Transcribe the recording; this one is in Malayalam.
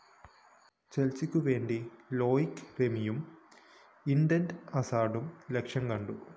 ചെല്‍സിക്കുവേണ്ടി ലോയ്ക് റെമിയും ഈഡന്‍ ഹസാര്‍ഡും ലക്ഷ്യംകണ്ടു